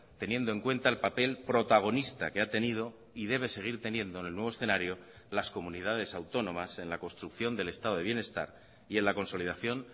teniendo en cuenta el papel protagonista que ha tenido y debe seguir teniendo en el nuevo escenario las comunidades autónomas en la construcción del estado de bienestar y en la consolidación